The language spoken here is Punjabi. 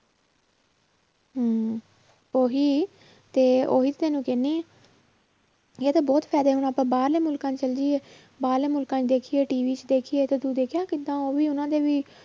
ਹਮ ਉਹੀ ਤੇ ਉਹੀ ਤੈਨੂੰ ਕਹਿੰਦੀ ਹਾਂ ਇਹਦੇ ਬਹੁਤ ਫ਼ਾਇਦੇ ਹੁਣ ਆਪਾਂ ਬਾਹਰਲੇ ਮੁਲਕਾਂ 'ਚ ਚਲੇ ਜਾਈਏ ਬਾਹਰਲੇ ਮੁਲਕਾਂ 'ਚ ਦੇਖੀਏ TV 'ਚ ਦੇਖੀਏ ਤੇ ਤੂੰ ਦੇਖਿਆਂ ਕਿੱਦਾਂ ਉਹ ਵੀ ਉਹਨਾਂ ਨੇ ਵੀ